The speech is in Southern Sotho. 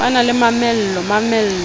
ba na le mamello mamello